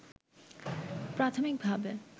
প্রাথমিকভাবে